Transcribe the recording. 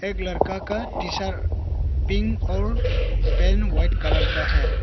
एक लड़का का टी शर्ट पिंक और पेन व्हाइट कलर का है।